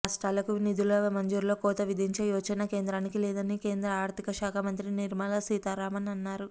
రాష్ట్రాలకు నిధుల మంజూరులో కోత విధించే యోచన కేంద్రానికి లేదని కేంద్ర ఆర్థిక శాఖ మంత్రి నిర్మలా సీతారామన్ అన్నారు